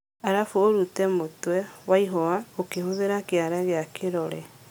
Arafu ũrute mũtwe wa ihũa ũkihũthĩra kĩara gĩa kĩrore.